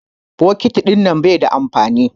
Bokiti ɗinnan bai da amfani.